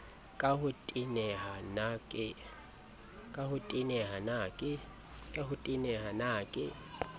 ka ho teneha na ke